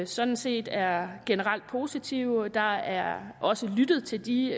sådan set er generelt positive der er også lyttet til de